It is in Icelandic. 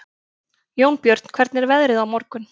Jónbjörn, hvernig er veðrið á morgun?